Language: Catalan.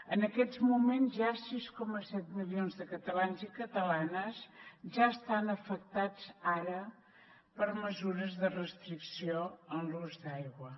en aquests moments sis coma set milions de catalans i catalanes ja estan afectats ara per mesures de restricció en l’ús d’aigua